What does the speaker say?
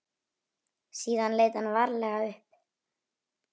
Síðan leit hann varlega upp.